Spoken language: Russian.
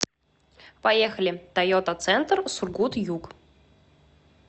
поехали тойота центр сургут юг